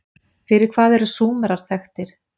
Fyrir hvað eru Súmerar þekktir?